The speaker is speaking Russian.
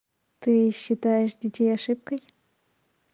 ты считаешь детей ошибкой